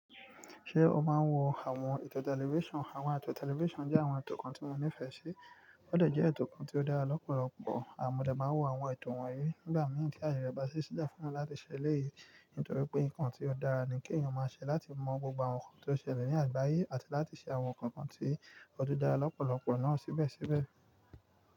Ṣé o máa ń wo àwọn ètò tẹlifíṣàn? Àwọn ètò tẹlifíṣàn jẹ́ àwọn ètò kan tí mo nífẹẹ sí. Ó dà jẹ́ ètò kan tí ó dára lọ́pọ̀lọpọ̀, mo de máa ń wo àwọn ètò wọ̀nyí nígbà míràn tí ayé rẹ bá ṣíṣe le fún mi láti ṣẹlẹ́èyí. Nítorí pé nǹkan tí ó dára ni kí èèyàn máa ṣẹ láti mọ gbogbo àwọn nǹkan tó ṣẹlẹ̀ ní àgbáyé àti láti ṣe àwọn kankan tí ó tún dára lọ́pọ̀lọpọ̀ náà síbẹ̀síbẹ̀.